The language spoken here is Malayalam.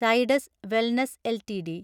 Zydus wellness LTD